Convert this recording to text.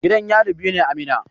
Gidan yari biyu ne a Minna.